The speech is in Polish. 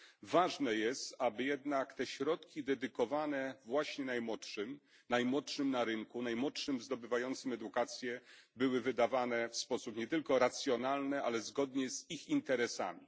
Ważne jest, aby jednak te środki dedykowane właśnie najmłodszym, najmłodszym na rynku, najmłodszym zdobywającym edukację, były wydawane w sposób nie tylko racjonalny, ale zgodnie z ich interesami.